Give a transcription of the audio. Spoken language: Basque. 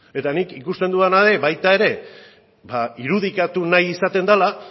eta nik ikusten dudana da baita ere irudikatu nahi izaten dela